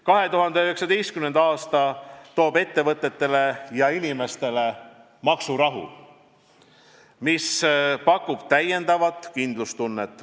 2019. aasta toob ettevõtetele ja inimestele maksurahu, mis pakub täiendavat kindlustunnet.